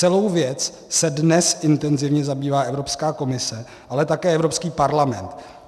Celou věcí se dnes intenzivně zabývá Evropská komise, ale také Evropský parlament.